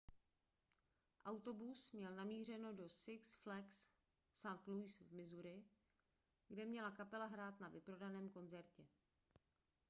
autobus měl namířeno do six flags st louis v missouri kde měla kapela hrát na vyprodaném koncertě